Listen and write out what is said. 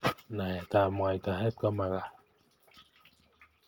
Naet ab mwaitaet komakat